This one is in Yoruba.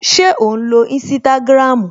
Ṣé ò ń lo Instagram?